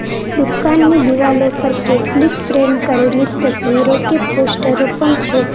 દુકાનની દીવાલો પર કેટલીક ફ્રેમ કરેલી તસવીરો કે પોસ્ટરો પણ છે.